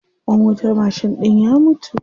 Ƙwan wutar mashin ɗin ya mutu.